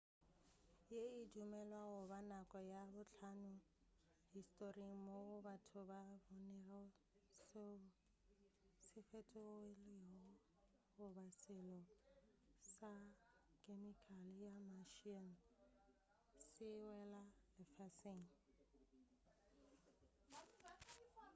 ye e dumelwa goba nako ya bohlano historing moo batho ba bonego soe se fetogilego goba selo sa khemikale ya martian se wela lefaseng